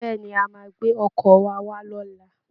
Bẹ́ẹ̀ ni, a máa gbé ọkọ̀ wa wá lọ́la